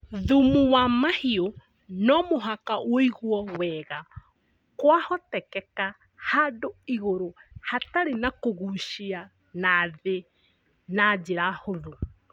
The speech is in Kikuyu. Thumu wa mahiũ nomũhaka wũigwo wega kwahotekeka handũ igũrũ hatarĩ na kũgucia na thĩ na njĩra hũthũ